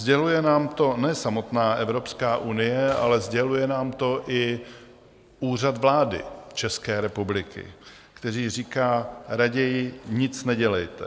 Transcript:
Sděluje nám to ne samotná Evropská unie, ale sděluje nám to i Úřad vlády České republiky, který říká: Raději nic nedělejte!